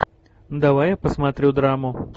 давай я посмотрю драму